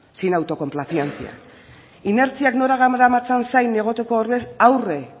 sin autocomplacencia inertziak nora garamatzan zain egoteko ordez aurre